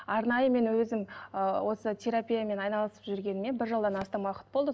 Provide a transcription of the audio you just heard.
арнайы мен өзім ы осы терапиямен айналысып жүргеніме бір жылдан астам уақыт болды